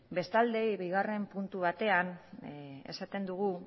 bestalde bigarren puntu batean esaten dugu